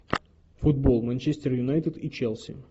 футбол манчестер юнайтед и челси